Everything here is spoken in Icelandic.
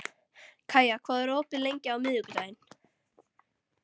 Kaía, hvað er opið lengi á miðvikudaginn?